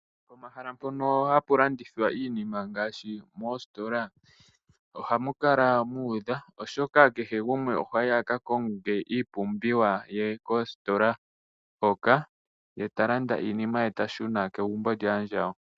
Pomahala mpono hapu landithwa iinima ngaashi moositola ohamu kala muudha , oshoka kehe gumwe ohayi aka konge iipumbiwa ye koositola hoka. Ye talanda iinima ye, yashuna kegumbo lyaandjawo.